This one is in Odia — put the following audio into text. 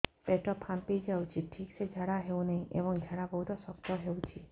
ପେଟ ଫାମ୍ପି ଯାଉଛି ଠିକ ସେ ଝାଡା ହେଉନାହିଁ ଏବଂ ଝାଡା ବହୁତ ଶକ୍ତ ହେଉଛି